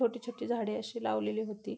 छोटी छोटी झाडे अशी लावलेली होती.